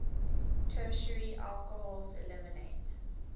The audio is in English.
tertiary alcohols eliminate